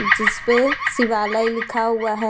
जिसपे शिवालय लिखा हुआ है।